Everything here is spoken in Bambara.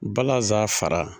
Balasan fara.